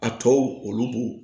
A tɔw olu b'o